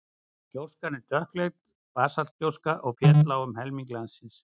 gjóskan er dökkleit basaltgjóska og féll á um helming landsins